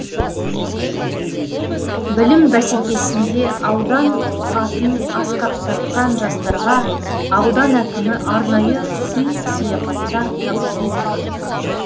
білім бәсекесінде аудан атын асқақтатқан жастарға аудан әкімі арнайы сый сияпаттар табыс етті